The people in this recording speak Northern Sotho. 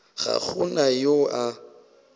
ga go na yo a